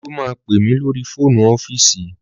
Olú máa pè mí lórí fóònù ọ́fíìsì